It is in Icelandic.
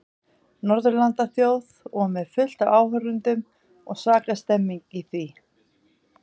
Norðurlandaþjóð og með fullt af áhorfendum og svaka stemmning í því.